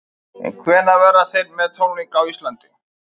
En hvenær verða þeir með tónleika á Íslandi?